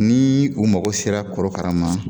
N'ii kun mago sera korokara ma